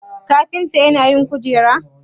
kafinta yana yin kujeru?